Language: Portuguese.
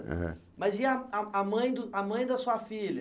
É. Mas e a a a mãe do a mãe da sua filha?